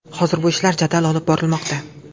Hozir bu ishlar jadal olib borilmoqda.